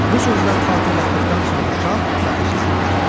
Bu sözləri xatırlatdıqdan sonra şah baxıcıları buraxdı.